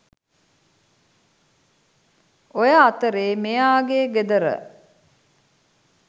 ඔය අතරේ මෙයාගේ ගෙදර